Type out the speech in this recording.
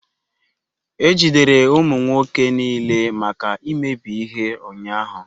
E jidere ụmụ nwoke niile maka imebi ihe ụnyahụ.